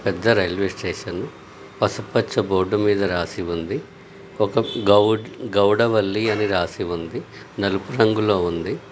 పెద్ద railway station పసుపుపచ్చ board మీద రాసి ఉంది. ఒక గౌడ్--గౌడవల్లి అని రాసి ఉంది. నలుపు రంగులో ఉంది.